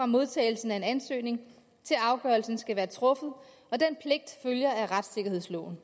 modtagelsen af en ansøgning til afgørelsen skal være truffet og den pligt følger af retssikkerhedsloven